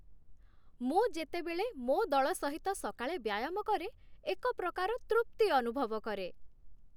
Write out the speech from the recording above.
ମୁଁ ଯେତେବେଳେ ମୋ ଦଳ ସହିତ ସକାଳେ ବ୍ୟାୟାମ କରେ, ଏକ ପ୍ରକାର ତୃପ୍ତି ଅନୁଭବ କରେ।